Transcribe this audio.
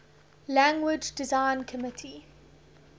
language design committee